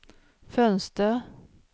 fönster